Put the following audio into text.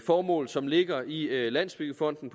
formål som ligger i landsbyggefonden